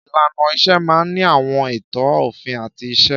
Ìlànà iṣẹ́ máà ń ní àwọn ètò, òfin àti ìse.